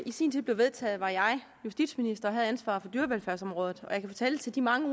i sin tid blev vedtaget var jeg justitsminister og havde ansvaret for dyrevelfærdsområdet og jeg kan fortælle de mange